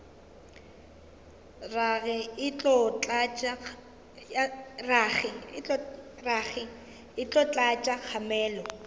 rage e tlo tlatša kgamelo